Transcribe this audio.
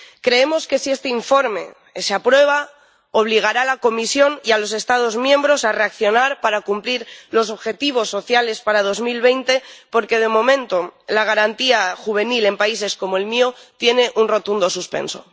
Creemos que si este informe se aprueba obligará a la Comisión y a los Estados miembros a reaccionar para cumplir los objetivos sociales para 2020, porque, de momento, la Garantía Juvenil en países como el mío tiene un rotundo suspenso.